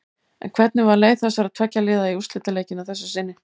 En hvernig var leið þessara tveggja liða í úrslitaleikinn að þessu sinni?